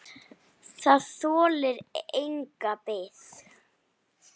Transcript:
Það þolir enga bið!